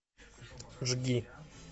жги